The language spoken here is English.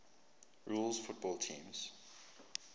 rules football teams